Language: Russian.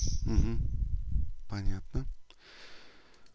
понятно